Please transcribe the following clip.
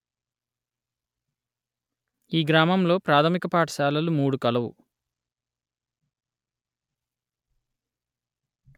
ఈ గ్రామంలో ప్రాథమిక పాఠశాలలు మూడు కలవు